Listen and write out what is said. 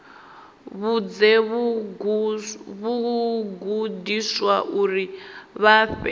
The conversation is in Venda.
vhudze vhagudiswa uri vha fhe